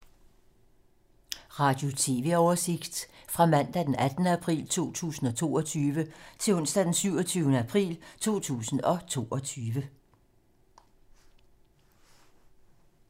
Radio/TV oversigt fra mandag d. 18. april 2022 til onsdag d. 27. april 2022